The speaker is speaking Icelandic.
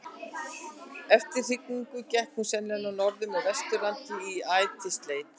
eftir hrygningu gekk hún sennilega norður með vesturlandi í ætisleit